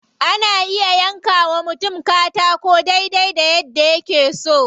Ana iya yanka wa mutum katakon dai dai yadda yake so.